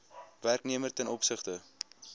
werknemer ten opsigte